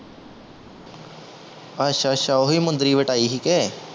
ਅੱਛਾ ਅੱਛਾ ਓਹੀ ਮੁੰਦਰੀ ਵਟਾਈ ਸੀ ਕੇ